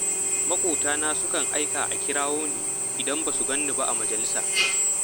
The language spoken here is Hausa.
Maƙotana sukan aika a kirawo ni idan ba su gan ni ba a majalisa